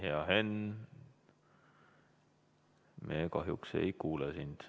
Hea Henn, me kahjuks ei kuule sind.